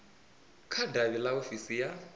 kha davhi ḽa ofisi ya